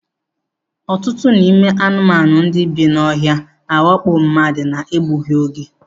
Ọtụtụ n'ime anụmanụ ndị bi n'ohia na-awakpo mmadụ na-egbughi oge.